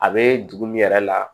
A be dugu min yɛrɛ la